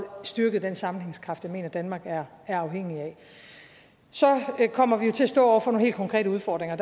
styrket den sammenhængskraft jeg mener danmark er afhængig af så kommer vi jo til at stå over for nogle helt konkrete udfordringer og